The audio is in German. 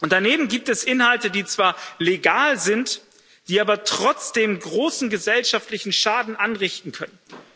Daneben gibt es Inhalte, die zwar legal sind, aber trotzdem großen gesellschaftlichen Schaden anrichten können.